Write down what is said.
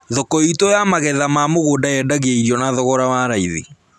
Thoko itũ ya magetha ma mũgũnda yendagia irio na thogoro wa raithi